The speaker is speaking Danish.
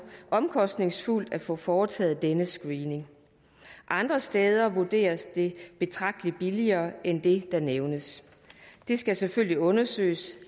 omkostningsfuldt at få foretaget denne screening andre steder vurderes det betragtelig billigere end det der nævnes det skal selvfølgelig undersøges